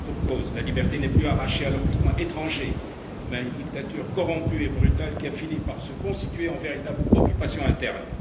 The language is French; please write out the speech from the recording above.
Et pour cause, la liberté n'est plus arrachée à l'occupant étranger, mais à une dictature corrompue et brutale qui a fini par se constituer en véritable occupation interne.